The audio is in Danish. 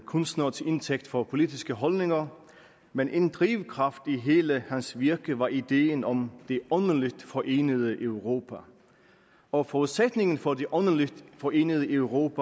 kunstnere til indtægt for politiske holdninger men en drivkraft i hele hans virke var ideen om det åndeligt forenede europa og forudsætningen for det åndeligt forenede europa